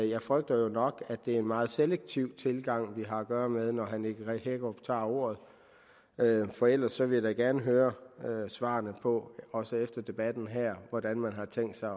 jeg frygter jo nok at det er en meget selektiv tilgang vi har at gøre med når herre nick hækkerup tager ordet for ellers vil jeg da gerne høre svarene på også efter debatten her hvordan man har tænkt sig